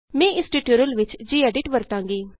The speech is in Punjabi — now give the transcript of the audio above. ਮੈਂ ਇਸ ਟਯੂਟੋਰਿਅਲ ਵਿਚ ਜੀਐਡਿਟ ਵਰਤਾਂਗੀ